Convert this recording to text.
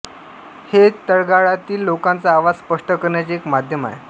हे तळागाळातील लोकांचा आवाज स्पष्ट करण्याचे एक माध्यम आहे